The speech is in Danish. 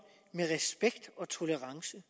med respekt og tolerance